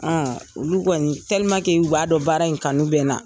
olu kɔni o b'a dɔn baara in kanu bɛ